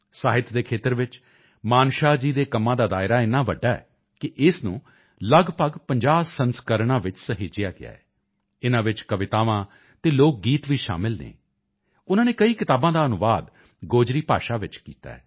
ਸਾਹਿਤ ਦੇ ਖੇਤਰ ਵਿੱਚ ਮਾਨਸ਼ਾਹ ਜੀ ਦੇ ਕੰਮਾਂ ਦਾ ਦਾਇਰਾ ਇੰਨਾ ਵੱਡਾ ਹੈ ਕਿ ਇਸ ਨੂੰ ਲਗਭਗ 50 ਸੰਸਕਰਣਾਂ ਵਿੱਚ ਸਹੇਜਿਆ ਗਿਆ ਹੈ ਇਨ੍ਹਾਂ ਵਿੱਚ ਕਵਿਤਾਵਾਂ ਅਤੇ ਲੋਕ ਗੀਤ ਵੀ ਸ਼ਾਮਿਲ ਹਨ ਉਨ੍ਹਾਂ ਨੇ ਕਈ ਕਿਤਾਬਾਂ ਦਾ ਅਨੁਵਾਦ ਗੋਜਰੀ ਭਾਸ਼ਾ ਵਿੱਚ ਕੀਤਾ ਹੈ